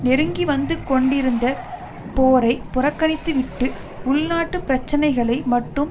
நெருங்கி வந்து கொண்டிருந்த போரை புறக்கணித்துவிட்டு உள்நாட்டு பிரச்சினைகளை மட்டும்